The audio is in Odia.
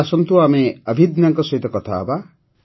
ଆସନ୍ତୁ ଆମେ ଅଭିଦନ୍ୟାଙ୍କ ସହ କଥା ହେବା